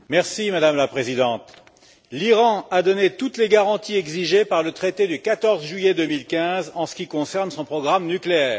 Madame la Présidente, l'Iran a donné toutes les garanties exigées par le traité du 14 juillet 2015 en ce qui concerne son programme nucléaire.